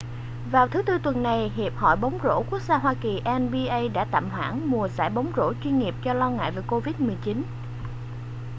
vào thứ tư tuần này hiệp hội bóng rổ quốc gia hoa kỳnba đã tạm hoãn mùa giải bóng rổ chuyên nghiệp do lo ngại về covid-19